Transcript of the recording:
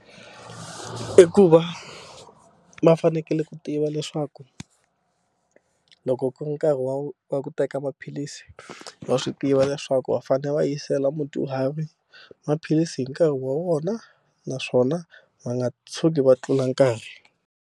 I ku va va fanekele ku tiva leswaku loko ku ri nkarhi wa wa ku teka maphilisi va swi tiva leswaku va fanele va yisela mudyuhari maphilisi hi nkarhi wa vona naswona va nga tshuki va tlula nkarhi.